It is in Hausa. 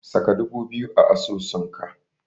Saka dubu biyu a asusunka.